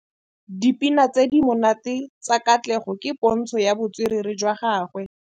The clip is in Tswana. Dipina tse di monate tsa Katlego ke pôntshô ya botswerere jwa gagwe.